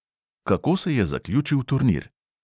Kako se je zaključil turnir?